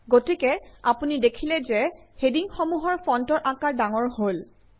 গতিকে আপুনি দেখিলে যে হেডিংসমূহৰ ফন্টৰ আকাৰ ডাঙৰ হল